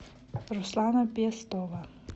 руслана пестова